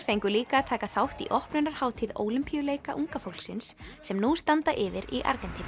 fengu líka að taka þátt á opnunarhátíð Ólympíuleika unga fólksins sem nú standa yfir í Argentínu